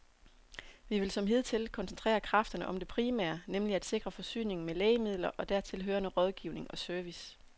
Vi vil som hidtil koncentrere kræfterne om det primære, nemlig at sikre forsyningen med lægemidler og dertil hørende rådgivning og service.